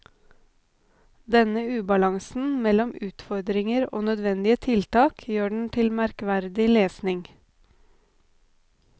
Denne ubalansen mellom utfordringer og nødvendige tiltak gjør den til merkverdig lesning.